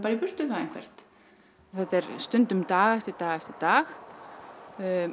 í burtu bara eitthvert þetta er stundum dag eftir dag eftir dag